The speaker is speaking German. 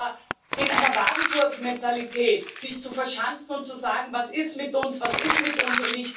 Aber sich in einer Wagenburgmentalität zu verschanzen und zu sagen Was ist mit uns, was ist mit uns?